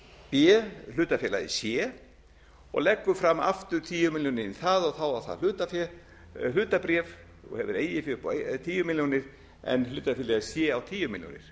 b hlutafélagið c og leggur fram aftur tíu milljónir í það þá á það hlutabréf og hefur eigið fé upp á tíu milljónir en hlutafélagið c á tíu milljónir